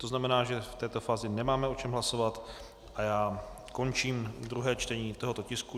To znamená, že v této fázi nemáme o čem hlasovat a já končím druhé čtení tohoto tisku.